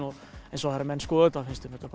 en svo þegar menn skoða þetta finnst þeim þetta